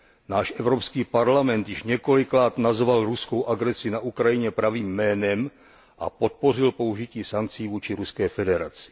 Náš Evropský parlament již několikrát nazval ruskou agresi na Ukrajině pravým jménem a podpořil použití sankcí vůči Ruské federaci.